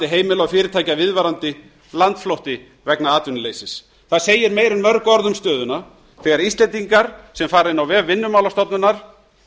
heimila og fyrirtækja viðvarandi landflótti vegna atvinnuleysis það segir meira en mörg orð um stöðuna þegar íslendingar sem fara inn á vef vinnumálastofnunar